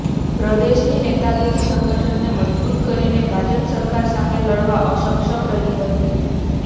પ્રદેશની નેતાગીરી સંગઠનને મજબૂત કરીને ભાજપ સરકાર સામે લડવા અસક્ષમ રહી હતી